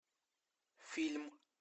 фильм